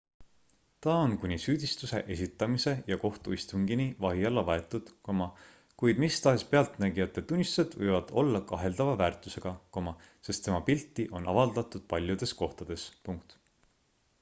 ta on kuni süüdistuse esitamise ja kohtuistungini vahi alla võetud kuid mis tahes pealtnägijate tunnistused võivad olla kaheldava väärtusega sest tema pilti on avaldatud paljudes kohtades